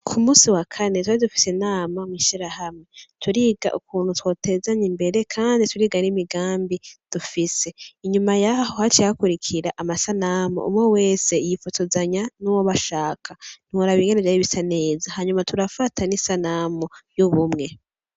Ku musi wa kane twari dufise inama mw'ishirahamwe, turiga ukuntu twotezanya imbere kandi turiga n'imigambi dufise, inyuma yaho haciye hakurikira amasanamu umwe wese yifotozanya n'uwo bashaka, ntiworaba ingene vyari bisa neza, hanyuma turafata n'isanamu y'ubumwe.